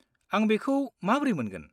आं बेखौ माब्रै मोनगोन?